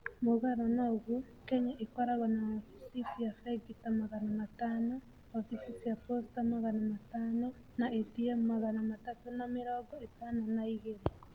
Mũgarũ na ũguo, Kenya ĩkoragwo na wabici cia bengi ta magana matano, wabici cia posta magana matano, na ATM magana matatũ na mĩrongo ĩtano na igĩrĩ.